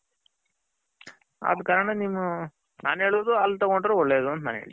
ಕಾರಣ ನೀವು ನನ್ ಹೇಳದು ಅಲ್ಲಿ ತಗೊಂಡ್ರೆ ಒಳ್ಳೇದ್ ಅಂತ ನಾನು ಹೇಳ್ತೀನಿ.